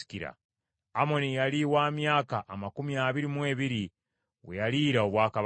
Amoni yali wa myaka amakumi abiri mu ebiri we yaliira obwakabaka.